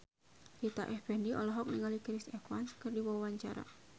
Rita Effendy olohok ningali Chris Evans keur diwawancara